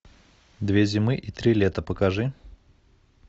две зимы и три лета покажи